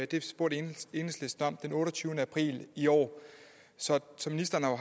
det spurgte enhedslisten om den otteogtyvende april i år så ministeren har